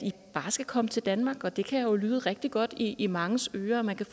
bare skal komme til danmark og det kan jo lyde rigtig godt i i manges ører at man kan